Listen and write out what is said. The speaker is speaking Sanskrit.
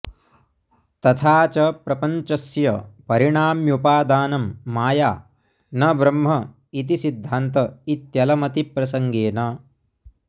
तथा च प्रपञ्चस्य परिणाम्युपादानं माया न ब्रह्म इति सिद्धान्त इत्यलमतिप्रसङ्गेन